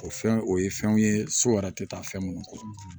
O fɛn o ye fɛnw ye so yɛrɛ tɛ taa fɛn mun kɔ